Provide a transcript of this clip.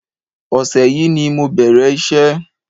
Ọṣẹ yìí ni mo bẹ̀rẹ̀ iṣẹ́